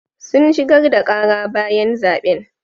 Sun shigar da ƙara bayan zaɓen.